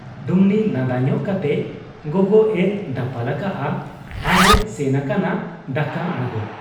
ᱰᱩᱢᱱᱤ ᱞᱟᱸᱫᱟ ᱧᱚᱜ ᱠᱟᱛᱮ ᱜᱚᱜᱚᱜ ᱮ ᱫᱟᱯᱟᱞ ᱟᱠᱟᱜ ᱟ ᱟᱨ ᱮ ᱥᱮᱱ ᱟᱠᱟᱱᱟ ᱫᱟᱠᱟ ᱟᱬᱜᱚ ᱾